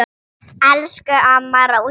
Elsku amma Rósa.